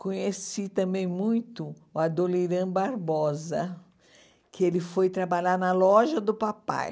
Conheci também muito o Adoniran Barbosa, que ele foi trabalhar na loja do papai.